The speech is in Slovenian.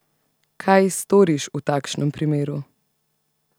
Kaj storiš v takšnem primeru?